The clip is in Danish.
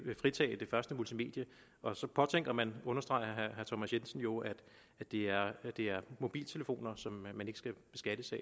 fritage det første multimedie og så påtænker man understreger herre thomas jensen jo at det er mobiltelefoner som man ikke skal beskattes af